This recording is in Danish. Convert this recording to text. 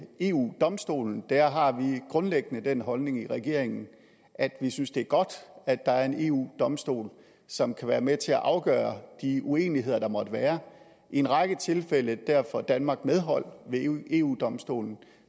eu domstolen har vi grundlæggende den holdning i regeringen at vi synes det er godt at der er en eu domstol som kan være med til at afgøre de uenigheder der måtte være i en række tilfælde får danmark medhold ved eu domstolen